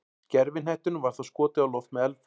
Gervihnettinum var þá skotið á loft með eldflaug.